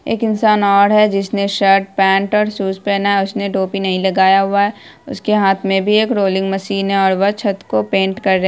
एक इंसान और है जिसने शर्ट पैन्ट और शूज पहना है और उसने टोपी नहीं लगाया हुआ है उसके हाथ मे भी रोलिंग मशीन है और वो छत को पेंट कर रहे-----